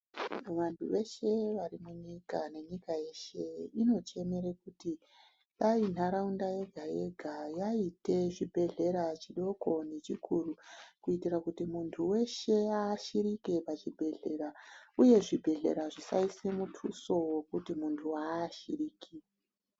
Vantu veshe varimunyika nenyika yeshe inochemere kuti dai ntaraunda yega-yega yaite chibhedhlera chidoko nechikuru, kuitire kuti muntu weshe aashirike pachibhedhlera uyezvibhedhlera zvisaise mutuso wekuti muntu ha-aashiriki.